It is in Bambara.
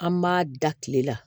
An m'a da kile la